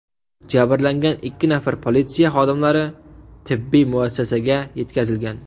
Jabrlangan ikki nafar politsiya xodimlari tibbiy muassasaga yetkazilgan.